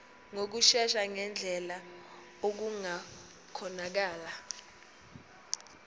ngokushesha ngendlela okungakhonakala